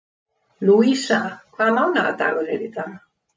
Lúísa, hvaða mánaðardagur er í dag?